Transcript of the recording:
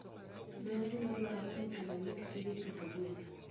Be en gima dwarore ni pile ilwok gige pitho gwen?